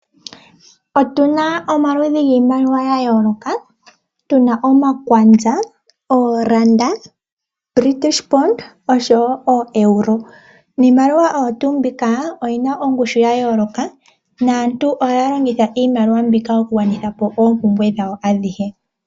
Otu na omaludhi giimaliwa ya yoloka tu na omakwanza, oranda, British pound oshowo Euro. Iimaliwa oyo tu mbika oyi na ongushu ya yoloka naantu ohaya longitha iimaliwa mbika ku gwanitha po oompumbwe dhawo adhihe.